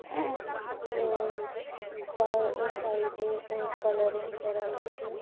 এ তার আ সাইড -এ কালারিং করা আছে --